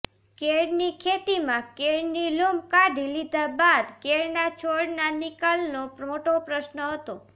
કેળની ખેતીમાં કેળની લૂમ કાઢી લીધા બાદ કેળના છોડના નિકાલનો મોટો પ્રશ્ન હતો